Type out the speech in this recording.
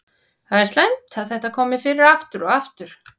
Það er slæmt að þetta komi fyrir aftur og aftur.